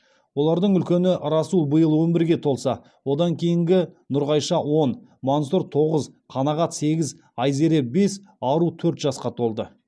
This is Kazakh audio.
олардың үлкені расул биыл он бірге толса одан кейінгі нұрғайша он мансұр тоғыз қанағат сегіз айзере бес ару төрт жасқа толды